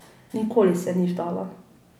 Nikoli se ni vdala.